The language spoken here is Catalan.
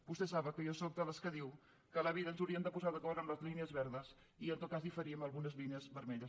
vostès saben que jo sóc de les que diu que a la vida ens hauríem de posar d’acord amb les línies verdes i en tot cas diferir en algunes línies vermelles